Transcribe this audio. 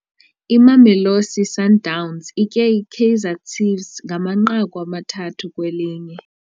Imamelosi Sundowns itye iKaizer Ciefs ngamanqaku amathathu kwelinye.